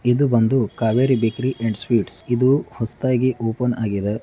ಇದು ಬಂದೂ Kaveri bakery and sweets . ಇದೂ ಹೊಸ್ದಾಗಿ ಓಪನ್ ಆಗಿದೆ.